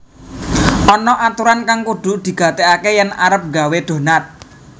Ana aturan kang kudu digatégaké yèn arep nggawé donat